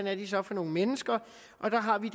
er de så for nogle mennesker og der har vi